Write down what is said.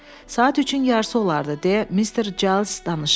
Saat üçün yarısı olardı, deyə Mister Cales danışırdı.